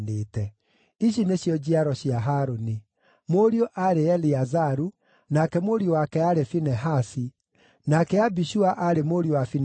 Ici nĩcio njiaro cia Harũni: Mũriũ aarĩ Eliazaru, nake mũriũ wake aarĩ Finehasi, nake Abishua aarĩ mũriũ wa Finehasi,